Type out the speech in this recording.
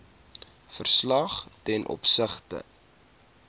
verslag ten opsigte